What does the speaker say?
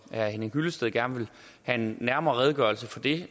herre henning hyllested gerne vil have en nærmere redegørelse for det